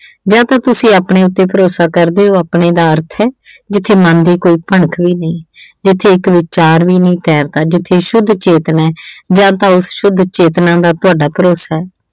ਜਾਂ ਤਾਂ ਤੁਸੀਂ ਆਪਣੇ ਉੱਤੇ ਭਰੋਸਾ ਕਰਦੇ ਓ, ਆਪਣੇ ਦਾ ਅਰਥ ਹੈ - ਜਿੱਥੇ ਮਨ ਦੀ ਕੋਈ ਭਿਣਕ ਵੀ ਨਈਂ, ਜਿੱਥੇ ਇੱਕ ਵਿਚਾਰ ਵੀ ਨਈਂ ਤੈਰਦਾ, ਜਿੱਥੇ ਸ਼ੁੱਧ ਚੇਤਨਾ ਏ, ਜਾਂ ਤਾਂ ਉਸ ਸ਼ੁੱਧ ਚੇਤਨਾ ਦਾ ਤੁਹਾਡਾ ਭਰੋਸਾ ਏ।